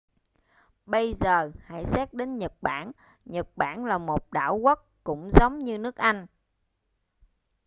bây giờ hãy xét đến nhật bản nhật bản là một đảo quốc cũng giống như nước anh